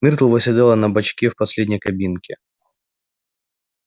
миртл восседала на бочке в последней кабинке